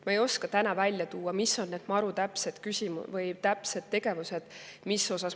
Ma ei oska täna välja tuua, mis on need MaRu täpsed tegevused.